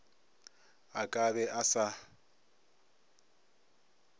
a ka be a sa